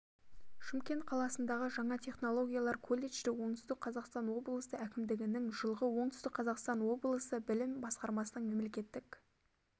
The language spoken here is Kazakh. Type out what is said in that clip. шымкент қаласындағы жаңа технологиялар колледжі оңтүстік қазақстан облысы әкімдігінің жылғы оңтүстік қазақстан облысы білім басқармасының мемлекеттік